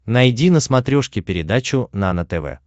найди на смотрешке передачу нано тв